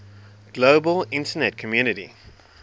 global internet community